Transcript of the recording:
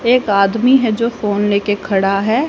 एक आदमी है जो फोन लेके खड़ा है।